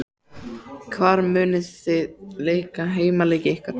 Hvar munuð þið leika heimaleiki ykkar?